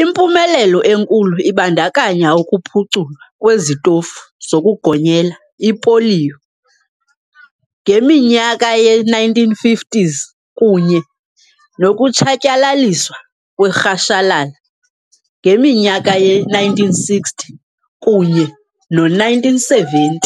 Impumelelo enkulu ibandakanya ukuphuculwa kwezitofu zokugonyela ipoliyo ngeminyaka ye-1950s kunye nokutshatyalaliswa kwerhashalala ngeminyaka yo-1960 kunye no-1970.